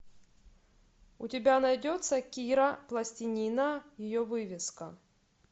у тебя найдется кира пластинина ее вывеска